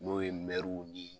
N'o ye ni